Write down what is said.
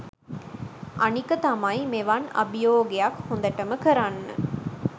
අනික තමයි මෙවන් අභියෝගයක් හොඳටම කරන්න